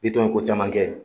Bitɔn ye ko caman kɛ.